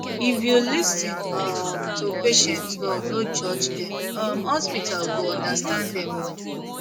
if you lis ten um to patient well no judge dem um hospital go understand dem more